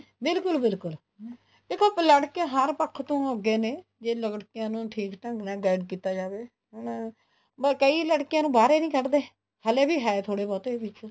ਬਿਲਕੁਲ ਬਿਲਕੁਲ ਦੇਖੋ ਲੜਕੇ ਹਰ ਪੱਖ ਤੋਂ ਅੱਗੇ ਨੇ ਜੇ ਲੜਕਿਆਂ ਨੂੰ ਠੀਕ ਢੰਗ ਨਾਲ guide ਕੀਤਾ ਜਾਵੇ ਹੁਣ ਕਈ ਲੜਕੀਆਂ ਨੂੰ ਬਾਹਰ ਹੀ ਨੀ ਕੱਡਦੇ ਹਲੇ ਵੀ ਹੈ ਥੋੜੇ ਬਹੁਤੇ ਵਿੱਚ